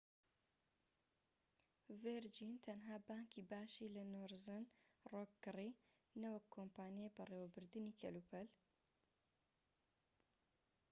ڤیرجین تەنها بانكی باشی' لە نۆرزن ڕۆک کڕی نەوەک کۆمپانیای بەڕێوەبردنی کەلوپەل